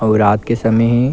अउ रात के समय हे।